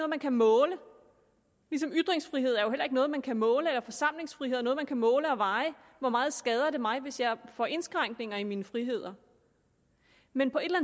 man kan måle ligesom ytringsfrihed er noget man kan måle eller forsamlingsfrihed er noget man kan måle og veje hvor meget skader det mig hvis jeg får indskrænkninger i mine friheder men på et eller